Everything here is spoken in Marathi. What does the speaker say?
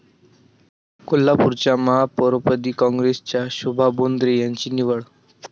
कोल्हापूरच्या महापौरपदी काँग्रेसच्या शोभा बोंद्रे यांची निवड